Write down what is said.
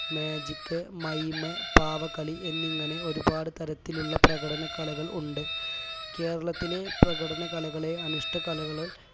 magicmime പാവകളി എന്നിങ്ങനെ ഒരുപാട് തരത്തിലുള്ള പ്രകടന കലകൾ ഉണ്ട് കേരളത്തിലെ പ്രകടന കലകളെ അനുഷ്ഠ കലകൾ